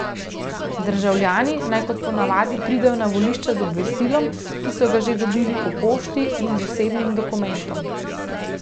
Državljani naj kot ponavadi pridejo na volišča z obvestilom, ki so ga že dobili po pošti, in z osebnim dokumentom.